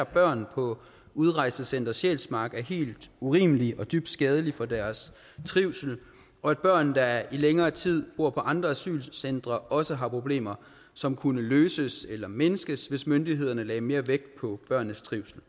børn på udrejsecenter sjælsmark er helt urimelig og dybt skadelig for deres trivsel og at børn der i længere tid bor på andre asylcentre også har problemer som kunne løses eller mindskes hvis myndighederne lagde mere vægt på børnenes trivsel